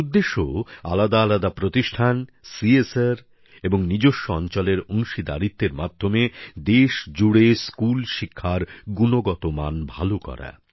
এর উদ্দেশ্য আলাদা আলাদা প্রতিষ্ঠান কর্পোরেট সামাজিক দায়বদ্ধতা এবং নিজস্ব অঞ্চলের অংশীদারিত্বের মাধ্যমে দেশজুড়ে স্কুল শিক্ষার গুণগত মান ভালো করা